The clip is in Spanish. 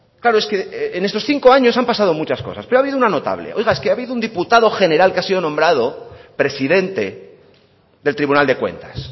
claro es que en estos cinco años han pasado muchas cosas pero ha habido una notable oiga es que ha habido un diputado general que ha sido nombrado presidente del tribunal de cuentas